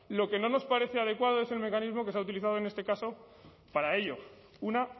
lo que no nos parece adecuado es el mecanismo que se ha utilizado en este caso para ello una